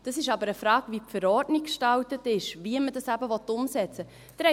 Das ist aber eine Frage, wie die Verordnung gestaltet ist, wie man das eben umsetzen will.